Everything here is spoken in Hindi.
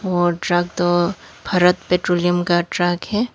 और ट्रक तो भारत पेट्रोलियम का ट्रक है।